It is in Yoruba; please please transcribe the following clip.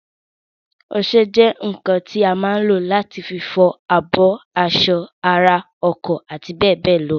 Ọsẹ jẹ́ ǹǹkan tí a má ǹ lò láti fi fọ abọ́, aṣọ, ara, ọkọ̀ àti bẹ́ẹ̀bẹ́ẹ̀ lọ